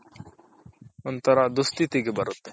ಒಂಥರಾ ದುಸ್ಥಿತಿಗೆ ಬರುತೆ .